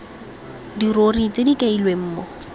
dirori tse di kailweng mo